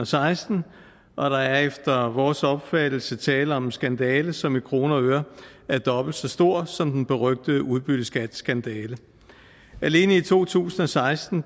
seksten og der er efter vores opfattelse tale om en skandale som i kroner og ører er dobbelt så stor som den berygtede udbytteskatskandale alene i to tusind og seksten